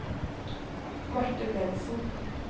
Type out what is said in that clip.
Marthe Bentsen